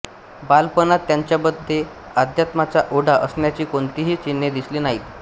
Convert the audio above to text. बालपणात त्यांच्यामध्ये अध्यात्माचा ओढा असण्याची कोणतीही चिन्हे दिसली नाहीत